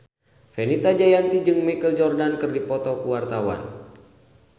Fenita Jayanti jeung Michael Jordan keur dipoto ku wartawan